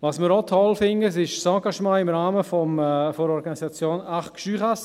Was wir auch toll finden, ist das Engagement im Rahmen der Organisation Arc Jurassien.